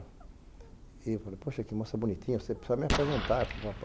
E eu falei, poxa, que moça bonitinha, você precisa me apresentar.